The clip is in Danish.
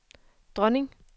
dronning